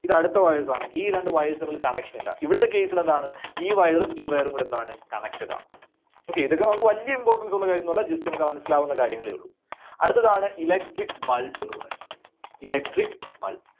ഇത് അടുത്ത wires ആണ്. ഈ രണ്ട് wires തമ്മിൽ connection ഇല്ല. ഇവിടുത്തെ case ൽ എന്താണ്? ഈ wire ഉം ഈ wire ഉം കൂടെ എന്താണ്? Connected ആണ്. Okay. ഇതൊക്കെ നമുക്ക് വല്ല്യ importance ഉള്ള കാര്യമൊന്നുമല്ല Just ഒന്ന് മനസ്സിലാവുന്ന കാര്യങ്ങളെ ഉള്ളൂ. അടുത്തതാണ് Electric bulb ന്ന് പറയുന്നത്. Electric Bulb.